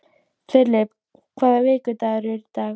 Filip, hvaða vikudagur er í dag?